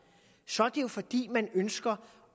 så er det jo fordi man ønsker